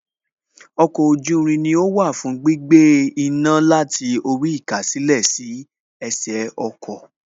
Wa oko oju irin ni ó wà fún gbígbé iná láti orí īkásèlé sí ẹsẹ̀ ọkọ̀